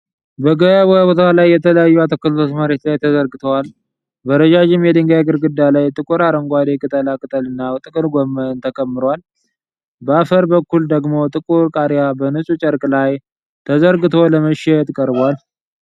በገበያ ቦታ ላይ የተለያዩ አትክልቶች መሬት ላይ ተዘርግተዋል። በረዣዥም የድንጋይ ግርግዳ ላይ ጥቁር አረንጓዴ ቅጠላ ቅጠልና ጥቅል ጎመን ተከምሯል። በአፈር በኩል ደግሞ ጥቁር ቃሪያ በንፁህ ጨርቅ ላይ ተዘርግቶ ለመሸጥ ቀርቧል።